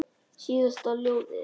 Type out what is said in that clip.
Síðasta ljóðið?